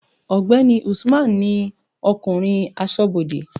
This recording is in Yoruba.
ọgbẹni Usman ni okunrin asobode